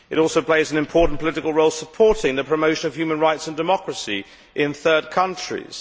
It also plays an important political role supporting the promotion of human rights and democracy in third countries.